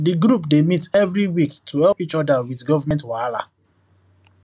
the group dey meet every week to help each other with government wahala